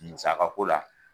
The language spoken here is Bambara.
Musaka ko la